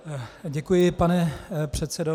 Děkuji, pane předsedo.